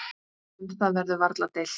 Um það verður varla deilt.